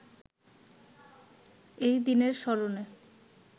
এই দিনের স্মরণে